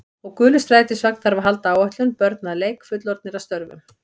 Og gulur strætisvagn þarf að halda áætlun, börn að leik, fullorðnir að störfum.